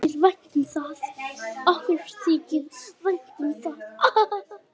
Okkur þykir vænt um það.